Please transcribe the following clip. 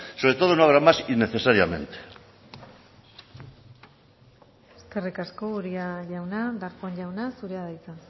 sobre todo no habrá más innecesariamente eskerrik asko uria jauna darpón jauna zurea da hitza